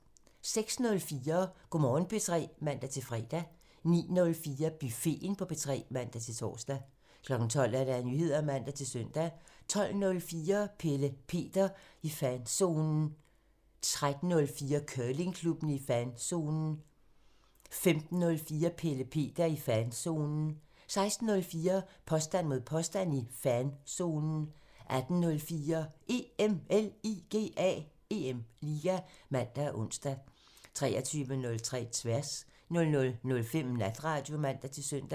06:04: Go' Morgen P3 (man-fre) 09:04: Buffeten på P3 (man-tor) 12:00: Nyheder (man-søn) 12:04: Pelle Peter i fanzonen 13:04: Curlingklubben i fanzonen 15:04: Pelle Peter i fanzonen 16:04: Påstand mod påstand i fanzonen 18:04: EM LIGA (man og ons) 23:03: Tværs 00:05: Natradio (man-søn)